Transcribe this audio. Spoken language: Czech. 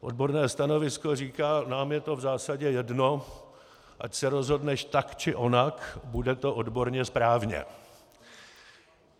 Odborné stanovisko říká: Nám je to v zásadě jedno, ať se rozhodneš tak, či onak, bude to odborně správně.